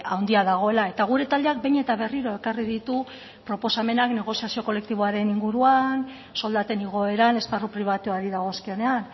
handia dagoela eta gure taldeak behin eta berriro ekarri ditu proposamenak negoziazio kolektiboaren inguruan soldaten igoeran esparru pribatuari dagozkionean